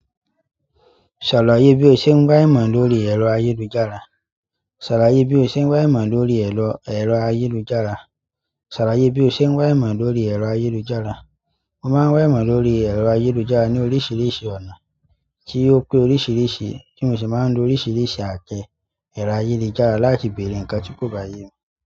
Ṣàlàyé bí o ṣe ń wá ìmọ̀ lórí ẹ̀rọ ayélujára. Ṣàlàyé bí o ṣe ń wá ìmọ̀ lórí ẹ̀rọ, ẹ̀rọ ayélujára. Ṣàlàyé bí o ṣe ń wá ìmọ̀ lórí ẹ̀rọ ayélujára. Mo máa ń wá ìmọ̀ lórí ẹ̀rọ ayélujára ní oríṣiríṣi ọ̀nà tí ó pé oríṣiríṣi ti mo sì máa ń lo oríṣiríṣi atẹ ẹ̀rọ ayélujára láti bere nǹkan tí kò bá yé mi.